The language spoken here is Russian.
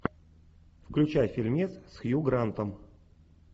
включай фильмец с хью грантом